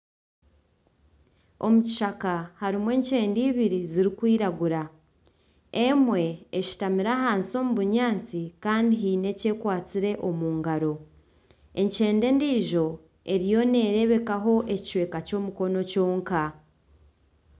Omu kishaka harimu enkyende eibiri zirikwiragura, emwe eshutamire ahansi omu bunyaatsi kandi hiine eki ekwatsire omungaro. Enkyende endijo eriyo nerebekaho ekicweka ky'omukono kyonka .